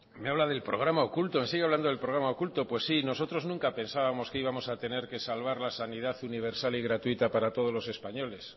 me habla del programa oculto me sigue hablando del programa oculto pues sí nosotros nunca pensábamos que íbamos a tener que salvar la sanidad universal y gratuita para todos los españoles